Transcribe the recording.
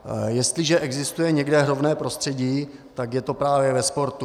Jestliže existuje někde rovné prostředí, tak je to právě ve sportu.